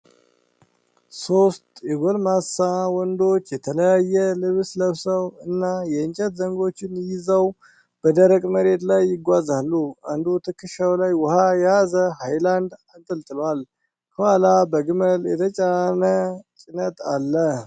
ሶስት የጎልማሳ ወንዶች፣ የተለያየ ልብስ ለብሰው እና የእንጨት ዘንጎች ይዘው በደረቅ መሬት ላይ ይጓዛሉ። አንዱ ትከሻው ላይ ውኃ የያዘ ሃይላንድ አንጠልጥሏል፤ ከኋላ በግመል የተጫነ ጭነት አለ።